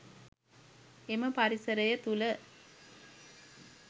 එම පරිසරය තුළ